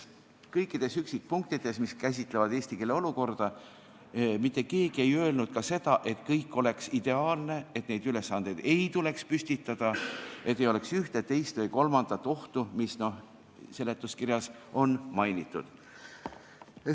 Kõikides üksikpunktides, mis käsitlevad eesti keele olukorda, ei öelnud mitte keegi, et kõik oleks ideaalne, et neid ülesandeid ei tuleks püstitada ja et ei oleks ühte, teist või kolmandat ohtu, mida seletuskirjas on mainitud.